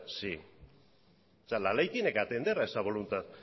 sí o sea la ley tiene que atender a esa voluntad